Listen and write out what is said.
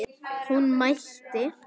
Hún mælti